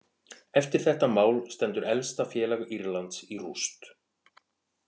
Eftir þetta mál stendur elsta félag Írlands í rúst.